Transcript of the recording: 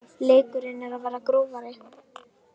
Leikurinn er að verða grófari